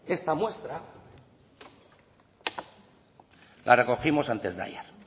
esta muestra la recogimos antes de ayer